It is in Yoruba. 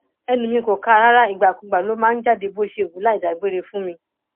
ẹnu mi kò kà á rárá ìgbàkugbà ló máa ń jáde bó ṣe wù ú láì dágbére fún mi